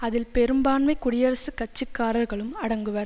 அதில் பெரும்பான்மை குடியரசுக் கட்சிக்காரர்களும் அடங்குவர்